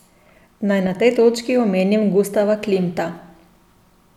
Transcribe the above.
Naj na tej točki omenim Gustava Klimta.